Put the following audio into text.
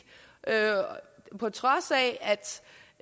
på trods af